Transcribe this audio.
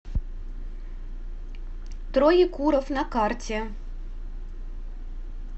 троекуровъ на карте